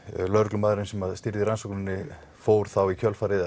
lögreglumaðurinn sem stýrði rannsókninni fór þá í kjölfarið